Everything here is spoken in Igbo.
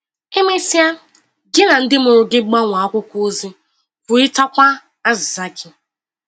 E mesịa, gị na ndị mụrụ gị gbanwee akwụkwọ ozi, kwurịtakwa azịza gị.